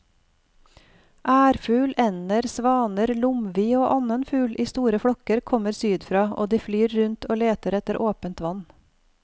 Ærfugl, ender, svaner, lomvi og annen fugl i store flokker kommer sydfra og de flyr rundt og leter etter åpent vann.